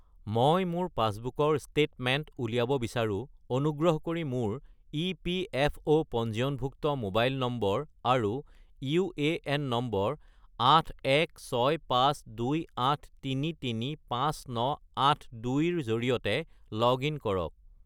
মই মোৰ পাছবুকৰ ষ্টেটমেণ্ট উলিয়াব বিচাৰোঁ, অনুগ্ৰহ কৰি মোৰ ইপিএফঅ’ পঞ্জীয়নভুক্ত মোবাইল নম্বৰ আৰু ইউএএন নম্বৰ 816528335982 -ৰ জৰিয়তে লগ-ইন কৰক